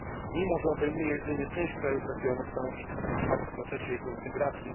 Mimo, że obejmuje jedynie część krajów regionu, stanowi istotny wkład w procesie jego integracji.